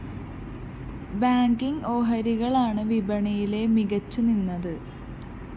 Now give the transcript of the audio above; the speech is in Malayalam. ബാങ്കിങ്‌ ഓഹരികളാണ് വിപണിയിലെ മികച്ചു നിന്നത്